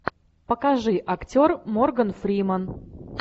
покажи актер морган фриман